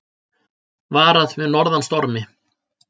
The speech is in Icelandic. Varað við norðan stormi